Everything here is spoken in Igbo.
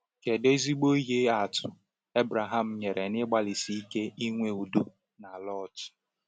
Kedu ezigbo ihe atụ Abraham nyere n’ịgbalịsi ike inwe udo na Lot?